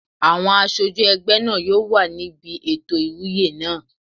Àwọn aṣojú ẹgbẹ́ náà yóò wà níbi ètò ìwúyè náà